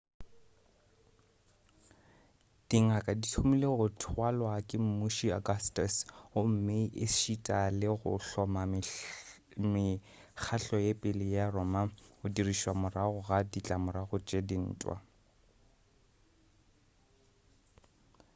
dingaka di thomile go thwalwa ke mmuši augustus gomme ešita le go hloma mekgahlo ya pele ya roma go dirišwa morago ga ditlamorago tša dintwa